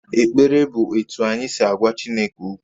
Ekpere bụ otú anyị si agwa Chineke okwu